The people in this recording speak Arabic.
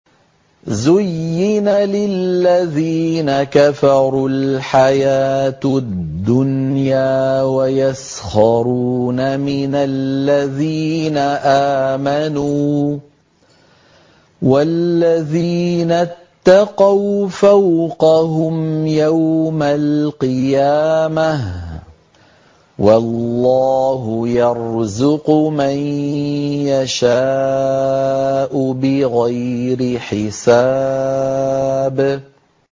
زُيِّنَ لِلَّذِينَ كَفَرُوا الْحَيَاةُ الدُّنْيَا وَيَسْخَرُونَ مِنَ الَّذِينَ آمَنُوا ۘ وَالَّذِينَ اتَّقَوْا فَوْقَهُمْ يَوْمَ الْقِيَامَةِ ۗ وَاللَّهُ يَرْزُقُ مَن يَشَاءُ بِغَيْرِ حِسَابٍ